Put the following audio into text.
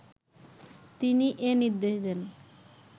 তিনি এ নির্দেশ দেন